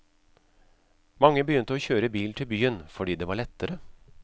Mange begynte å kjøre bil til byen, fordi det var lettere.